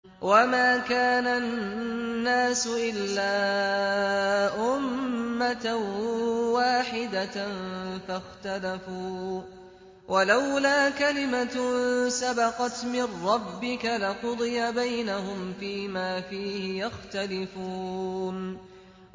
وَمَا كَانَ النَّاسُ إِلَّا أُمَّةً وَاحِدَةً فَاخْتَلَفُوا ۚ وَلَوْلَا كَلِمَةٌ سَبَقَتْ مِن رَّبِّكَ لَقُضِيَ بَيْنَهُمْ فِيمَا فِيهِ يَخْتَلِفُونَ